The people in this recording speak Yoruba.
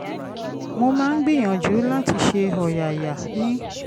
mo máa ń gbìyànjú láti ṣe ọ̀yàyà ní